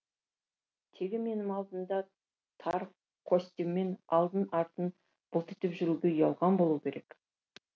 тегі менің алдымда тар костюммен алды артын бұлтитып жүруге ұялған болу керек